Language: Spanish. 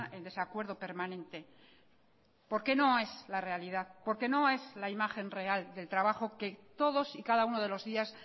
en desacuerdo permanente porque no es la realidad porque no es la imagen real del trabajo que todos y cada uno de los días